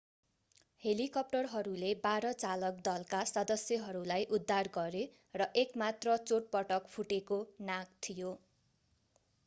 हेलिकप्टरहरूले बाह्र चालक दलका सदस्यहरूलाई उद्धार गरे र एक मात्र चोटपटक फुटेको नाक थियो